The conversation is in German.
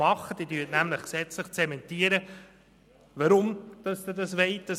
Sie zementieren nämlich gesetzlich, weshalb Sie das Gesetz wollen.